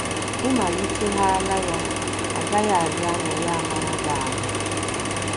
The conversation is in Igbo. Ị malitehaala ya, ọ gaghị adị anya ya amara gị ahụ́.